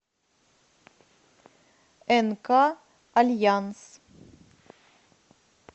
нк альянс